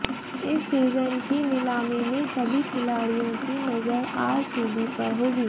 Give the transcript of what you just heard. इस सीजन की नीलामी में सभी खिलाड़ियों की नजर आरसीबी पर होगी